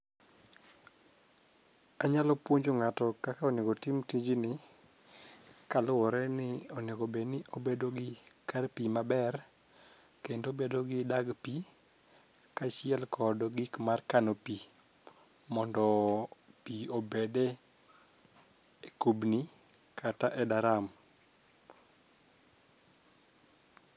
Anyalo puonjo ng'ato kaka onego tim tijni kaluwore ni onego bed ni obedo gi kar pii maber kendo bedo gi dag pii kaachiel kod gik mar kano pii mondo pii obede kubni kata e daram.